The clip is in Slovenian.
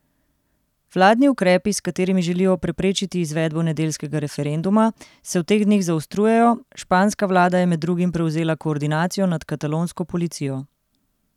Vladni ukrepi, s katerimi želijo preprečiti izvedbo nedeljskega referenduma, se v teh dneh zaostrujejo, španska vlada je med drugim prevzela koordinacijo nad katalonsko policijo.